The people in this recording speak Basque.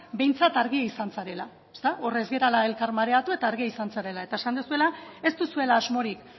behintzat argia izan zarela ezta hor ez garela elkar mareatu eta argia izan zarela eta esan duzuela ez duzuela asmorik